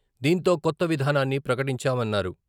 దీంతో కొత్త విధానాన్ని ప్రకటించామన్నారు.